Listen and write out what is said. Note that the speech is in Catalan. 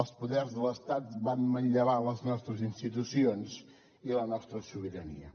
els poders de l’estat van manllevar les nostres institucions i la nostra sobirania